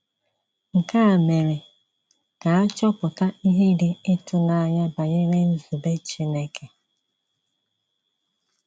Nke a mere ka a chọpụta ihe dị ịtụnanya banyere nzube Chineke.